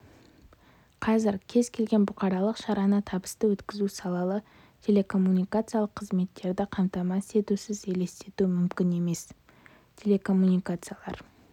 қазір кез келген бұқаралық шараны табысты өткізу сапалы телекоммуникациялық қызметтерді қамтамасыз етусіз елестету мүмкін емес телекоммуникациялар